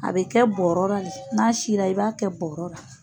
A bɛ kɛ bɔɔrɔra la n'a sinna i b'a kɛ bɔɔrɔra.